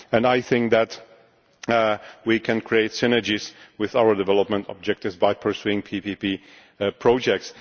point. I think that we can create synergies with our development objectives by pursuing PPP projects.